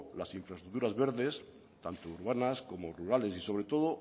las infraestructuras verdes tanto urbanas como rurales y sobre todo